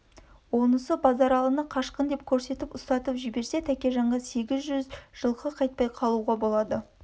онысы базаралыны қашқын деп көрсетіп ұстатып жіберсе тәкежанға сегіз жүз жылқы қайтпай қалуға болады